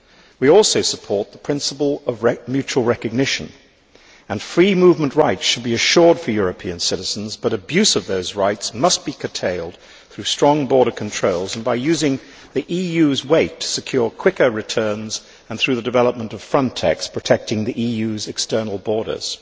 We also support the principle of mutual recognition, and free movement rights should be assured for European citizens, but abuse of those rights must be curtailed through strong border controls and by using the EU's weight to secure quicker returns, and through the development of Frontex protecting the EU's external borders.